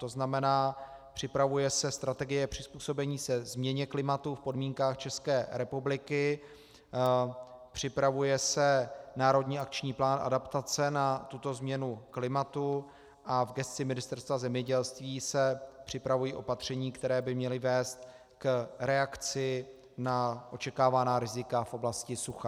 To znamená, připravuje se strategie přizpůsobení se změně klimatu v podmínkách České republiky, připravuje se národní akční plán adaptace na tuto změnu klimatu a v gesci Ministerstva zemědělství se připravují opatření, která by měla vést k reakci na očekávaná rizika v oblasti sucha.